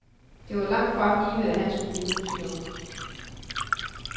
Det var langt fra givet, at han skulle blive musiker.